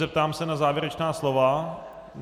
Zeptám se na závěrečná slova.